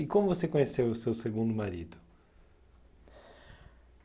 E como você conheceu o seu segundo marido?